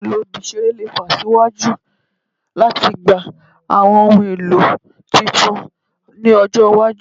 Ohun elo ibi-iṣere le fe siwaju latigba awọn ohun elo tuntun ni ọjọ iwaju